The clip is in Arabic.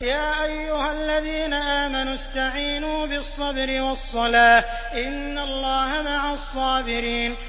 يَا أَيُّهَا الَّذِينَ آمَنُوا اسْتَعِينُوا بِالصَّبْرِ وَالصَّلَاةِ ۚ إِنَّ اللَّهَ مَعَ الصَّابِرِينَ